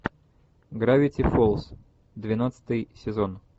гравити фолз двенадцатый сезон